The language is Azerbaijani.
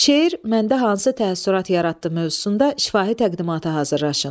Şeir məndə hansı təəssürat yaratdı mövzusunda şifahi təqdimata hazırlaşın.